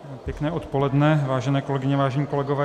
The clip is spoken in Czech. Pěkné odpoledne, vážené kolegyně, vážení kolegové.